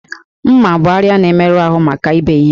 M̀mà bụ àrịá na-emerụ ahụ maka ibe ihe